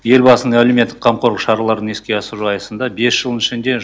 елбасының әлеуметтік қамқорлық шараларын еске асыру аясында бес жылдың ішінде